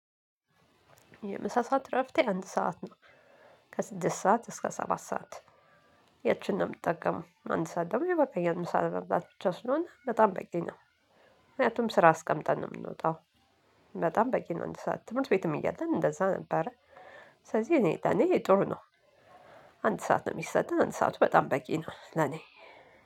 የምሳ ሰዓት እረፍቴ አንድ ሰዓት ነው። ከስድስት ሰዓት እስከ ሰባት ሰዓት ያቺን ነው የምጠቀመው አንድ ሰዓት ደግሞ ይበቃኛል። ምሳ ለመብላት ብቻ ስለሆነ በጣም በቂ ነው ምክንያቱም ስራ አስቀምጠን ነው የምንወጣው። በጣም በቂ ነው አንድ ሰዓት ትምህርት ቤትም እያለን እንደዛ ነበረ ስለዚህ እኔ ለእኔ ጥሩ ነው። አንድ ሰዓት ነው የሚሰጠን አንድ ሰዓቱ በጣም በቂ ነው። ለኔ